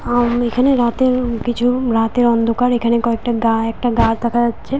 আমি এখানে রাতের কিছু রাতের অন্ধকার এখানে কয়েকটা গা একটা গাছ দেখা যাচ্ছে।